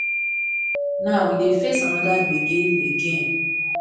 now e dey face anoda gbege again